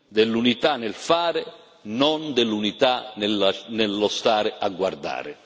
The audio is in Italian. dell'unità nel fare, non dell'unità nella nello stare a guardare.